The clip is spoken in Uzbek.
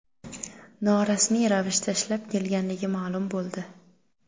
norasmiy ravishda ishlab kelganligi ma’lum bo‘ldi.